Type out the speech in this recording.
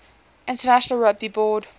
international rugby board